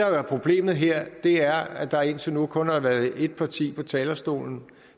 jo er problemet her er at der indtil nu kun har været et parti på talerstolen